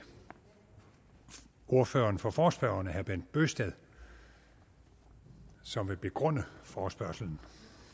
ordføreren for forespørgerne herre bent bøgsted som vil begrunde forespørgslen